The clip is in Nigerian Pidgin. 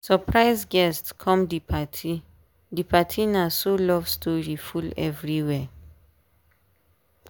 surprise guest come the party the party na so love story full everywhere.